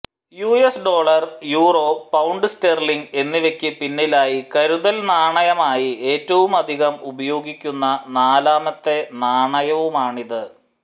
US dollar euro pound sterling എന്നിവക്ക് പിന്നിലായി കരുതൽ നാണയമായി ഏറ്റവുമധികം ഉപയോഗിക്കുന്ന നാലാമത്തെ നാണയവുമാണിത്